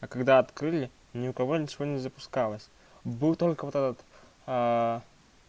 а когда открыли ни у кого ничего не запускалось было только вот